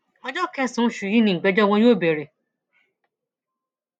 ọjọ kẹsànán oṣù yìí nìgbẹjọ wọn yóò bẹrẹ